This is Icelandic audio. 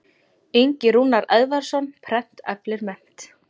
Ingi Rúnar Eðvarðsson, Prent eflir mennt.